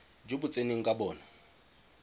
jo bo tseneng ka bona